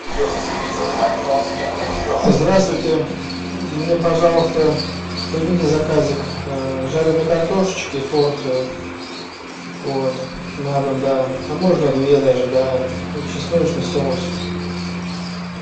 здравствуйте мне пожалуйста примите заказик жареной картошечки порцию вот на дом да а можно две даже да и чесночный соус